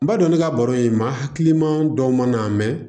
N b'a dɔn ne ka baro in maa hakiliman dɔw man nan mɛ